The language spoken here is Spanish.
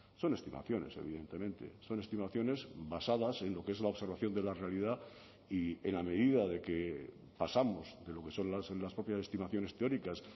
son estimaciones evidentemente son estimaciones basadas en lo que es la observación de la realidad y en la medida de que pasamos de lo que son las propias estimaciones teóricas